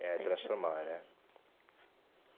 É, transformar, né?